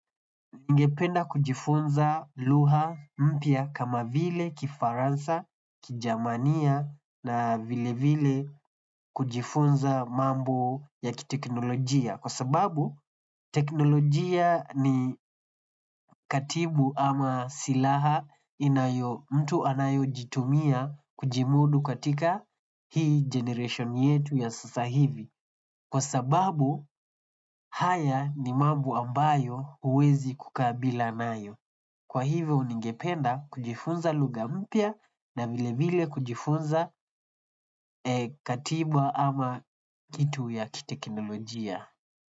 Ningependa kujifunza lugha mpya kama vile kifaransa, kijerumani na vile vile kujifunza mambo ya kiteknolojia. Kwa sababu, teknolojia ni katibu ama silaha inayo mtu anayo jitumia kujimudu katika hii generation yetu ya sasa hivi. Kwa sababu, haya ni mambo ambayo huwezi kukaa bila nayo. Kwa hivyo ningependa kujifunza lugha mpya na vile vile kujifunza katiba ama kitu ya kiteknolojia.